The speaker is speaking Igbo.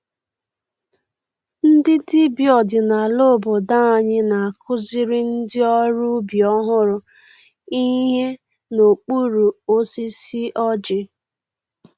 Ndị dibịa ọdinala obodo anyị na-akụziri ndị ọrụ ubi ọhụrụ ihe n’okpuru osisi ọjị.